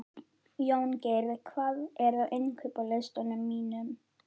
Jóngeir, hvað er á innkaupalistanum mínum?